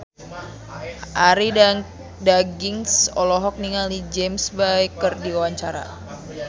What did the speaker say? Arie Daginks olohok ningali James Bay keur diwawancara